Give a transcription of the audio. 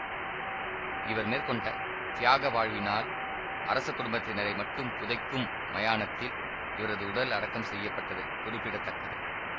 இவர் மேற்கொண்ட தியாக வாழ்வினால் அரச குடும்பத்தினரை மட்டும் புதைக்கும் மயானத்தில் இவரது உடல் அடக்கம் செய்ய பட்டது குறிப்பிட தக்கது